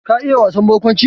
Ka iya wasan barkwanci?